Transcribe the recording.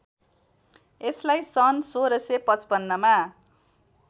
यसलाई सन् १६५५ मा